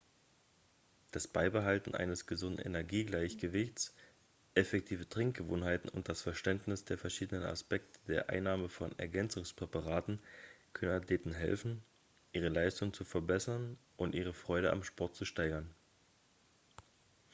das beibehalten eines gesunden energiegleichgewichts effektive trinkgewohnheiten und das verständnis der verschiedenen aspekte der einnahme von ergänzungspräparaten können athleten helfen ihre leistung zu verbessern und ihre freude am sport zu steigern